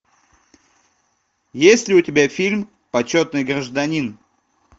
есть ли у тебя фильм почетный гражданин